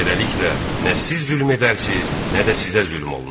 Beləliklə, nə siz zülm edərsiz, nə də sizə zülm olunar.